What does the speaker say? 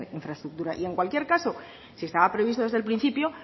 infraestructura y en cualquier caso si estaba previsto desde el principio